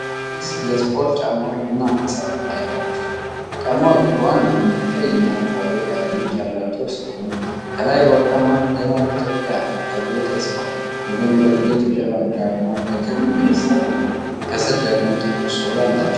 ሁለት የስፖርት ጫማዎች ቡናማ ሣጥን ላይ ተቀምጠዋል። ጫማዎቹ በዋነኝነት ቀይና አረንጓዴ ቀለሞች ያሏቸው ሲሆን፣ ከላይ በወርቃማ ፊደላት "ኢትዮጵያን" ተብሎ ተጽፏል። በጎን በኩል የኢትዮጵያ ባንዲራ አርማ በክብ ቅርጽ ተቀምጧል፣ ከስር ደግሞ ጥቁር ሶል አላቸው።